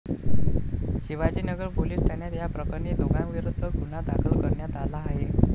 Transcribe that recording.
Shivajinagar police ठाण्यात या प्रकरणी दोघांविरुध्द गुन्हा दाखल करण्यात आला आहे.